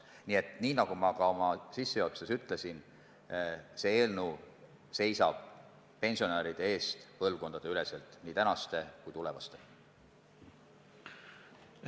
Nii et nagu ma sissejuhatuses ütlesin, seisab see eelnõu pensionäride eest põlvkondadeüleselt – nii tänaste kui ka tulevaste pensionäride eest.